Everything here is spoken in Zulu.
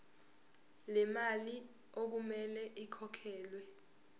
lemali okumele ikhokhelwe